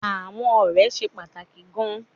Àwọn ọ̀rẹ́ ṣe pàtàkì gan-an